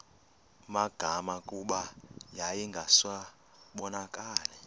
magama kuba yayingasabonakali